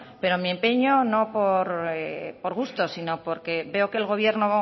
pero mi empeño no por gusto sino porque veo que el gobierno